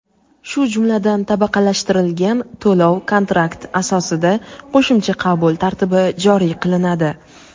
shu jumladan tabaqalashtirilgan to‘lov kontrakt asosida qo‘shimcha qabul tartibi joriy qilinadi.